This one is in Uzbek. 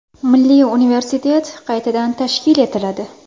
Milliy universitet qaytadan tashkil etiladi.